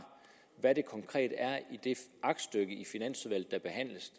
hvad det konkret er i det aktstykke der behandles